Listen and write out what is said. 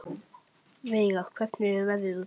Veigar, hvernig er veðrið úti?